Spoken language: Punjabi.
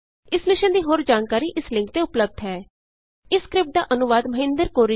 ਇਸ ਮਿਸ਼ਨ ਦੀ ਹੋਰ ਜਾਣਕਾਰੀ ਇਸ ਲਿੰਕ ਤੇ ਉਪਲੱਭਦ ਹੈ httpspoken tutorialorgNMEICT Intro ਇਸ ਸਕਰਿਪਟ ਦਾ ਅਨੁਵਾਦ ਮਹਿੰਦਰ ਕੌਰ ਰਿਸ਼ਮ ਨੇ ਕੀਤਾ ਹੈ